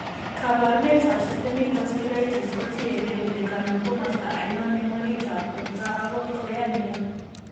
Kaabarunetap systemic vasculitis ko tiyekeey kole kanam komosta ainon eng' oritab borto ak kot ko yaa nia.